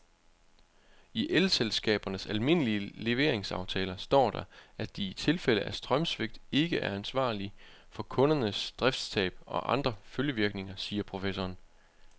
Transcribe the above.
I elselskabernes almindelige leveringsaftaler står der, at de i tilfælde af strømsvigt ikke er ansvarlig for kundernes driftstab og andre følgevirkninger, siger professoren.